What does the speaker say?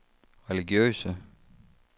religiøse